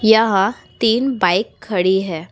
यहाँ तीन बाइक खड़ी है।